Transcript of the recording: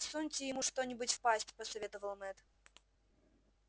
всуньте ему что нибудь в пасть посоветовал мэтт